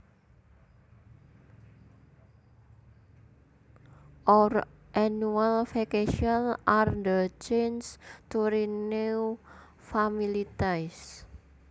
Our annual vacations are the chance to renew family ties